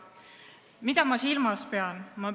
Mida ma silmas pean?